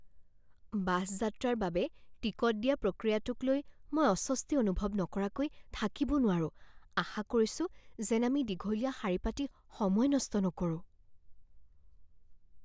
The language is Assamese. বাছ যাত্ৰাৰ বাবে টিকট দিয়া প্ৰক্ৰিয়াটোক লৈ মই অস্বস্তি অনুভৱ নকৰাকৈ থাকিব নোৱাৰোঁ, আশা কৰিছোঁ যেন আমি দীঘলীয়া শাৰী পাতি সময় নষ্ট নকৰোঁ।